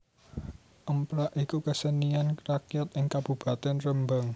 Emprak iku kesenian rakyat ing Kabupatèn Rembang